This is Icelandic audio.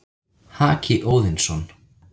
Haki Óðinsson,